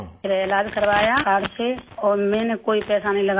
फिर इलाज करवाया कार्ड से और मैंने कोई पैसा नहीं लगाया